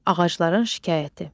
Ağacların şikayəti.